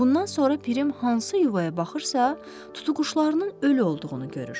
Bundan sonra Pirim hansı yuvaya baxırsa, tutuquşularının ölü olduğunu görür.